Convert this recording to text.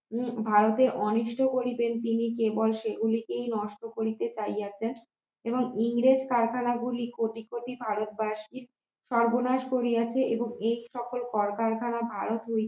ভারতের অনিষ্ট করেছে তিনি কেবল সেগুলিকে নষ্ট করিতে চাই আছেন এবং ইংরেজ কারখানা গুলি কোটি কোটি ভারতবাসীর সর্বনাশ করিয়াছে এবং এই সকল কলকারখানা ভারত